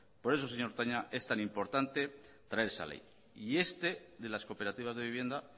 por eso señor toña es tan importante traer esa ley y este de las cooperativas de vivienda